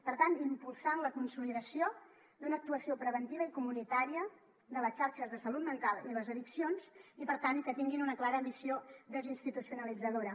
per tant impulsant la consolidació d’una actuació preventiva i comunitària de les xarxes de salut mental i les addiccions i per tant que tinguin una clara missió desinstitucionalitzadora